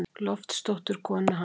Loftsdóttur, konu hans.